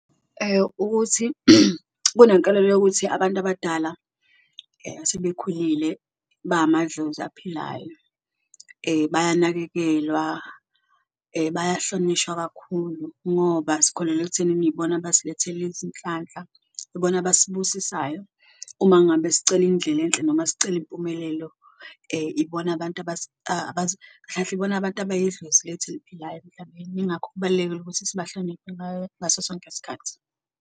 Ukuthi kunenkelelo yokuthi abantu abadala asebekhulile bamadlozi aphilayo bayanakekelwa, bahlonishwa kakhulu ngoba sikholelwa ekuthenini ibona abasilethela izinhlanhla, ibona abasibusisayo uma ngabe sicela indlela enhle noma sicela impumelelo ibona abantu kahle kahle ibona abantu abayidlozi lethu eliphilayo. Mhlambe ingakho kubalulekile ukuthi sibahloniphe ngaso sonke isikhathi.